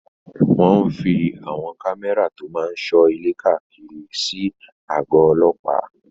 Wọ́n fí àwọn kámẹ́rà tó máa n sọ ilé káàkiri àgọ̀ ọlọ́pàá